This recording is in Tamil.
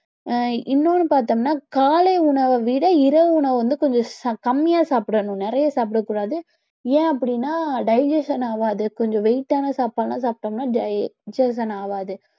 அஹ் இன்னொன்னு பார்த்தோம்னா காலை உணவை விட இரவு உணவு வந்து கொஞ்சம் ச~ கம்மியா சாப்பிடணும் நிறைய சாப்பிடக்கூடாது ஏன் அப்படின்னா digestion ஆகாது கொஞ்சம் weight ஆன சாப்பாடு எல்லாம் சாப்பிட்டோம்னா digestion ஆகாது